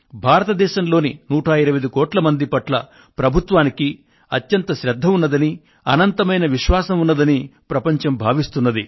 భారతదేశంలోని 125 కోట్ల మంది పట్ల ప్రభుత్వానికి అత్యంత శ్రద్ధ ఉందని అనంతమైన విశ్వాసం ఉందని ప్రపంచం భావిస్తోంది